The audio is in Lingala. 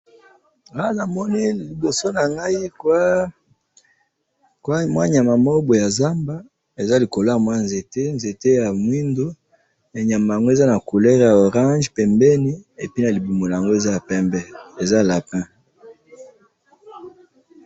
Na moni ndeke likolo ya nzete ya moindo ndeke yango eza na langi ya motane na pembe na libumu.